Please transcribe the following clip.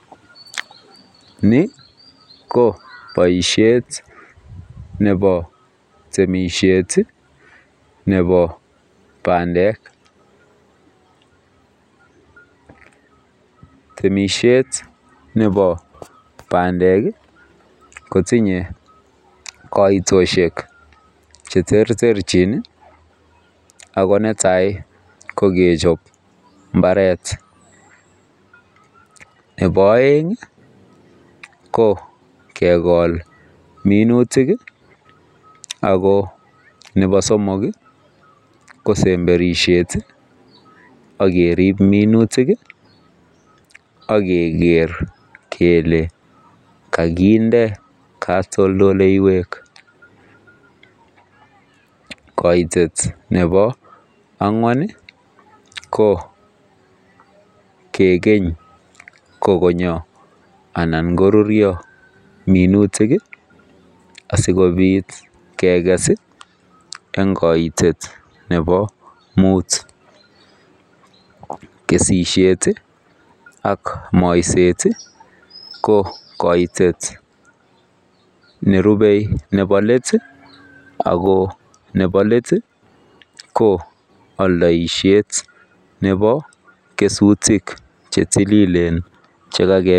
Niboo baishet Nebo temisiet Nebo bandek temishet Nebo bandek kotinye kaitoshek cheterterchin akonetai kokechobe imbaret ak Nebo imbaret ko kegol minutik ak Nebo somok ak semberishet agerib minutik akeger kele kakinde katoldoiywek kaitet Nebo angwan kegeny kokonyo anan korurio minutik sikobit keges en kaitet Nebo mut kesishet ak Maisey ko kaitet nerube Nebo let ko aldaishet Nebo kesutik chetililen